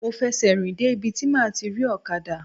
Mo fẹ̀sẹ̀ rìn dé ibi tí máa ti rí ọ̀kadà.